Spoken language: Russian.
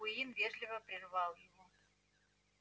куинн вежливо прервал его